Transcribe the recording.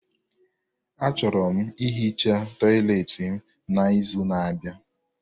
Achọrọ m ihicha tọyịleetị m n'izu n'abịa.